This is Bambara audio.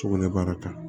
Sugunɛbara kan